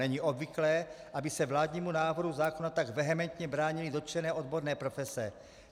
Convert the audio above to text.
Není obvyklé, aby se vládnímu návrhu zákona tak vehementně bránily dotčené odborné profese.